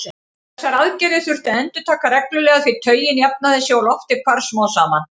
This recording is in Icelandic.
Þessar aðgerðir þurfti að endurtaka reglulega því taugin jafnaði sig og loftið hvarf smám saman.